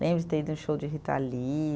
Lembro de ter ido num show de Rita Lee.